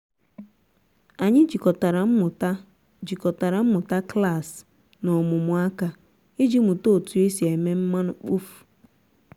anyị jikọtara mmụta jikọtara mmụta klasị na ọmụmụ aka iji mụta otu esi eme mmanụ mkpofu.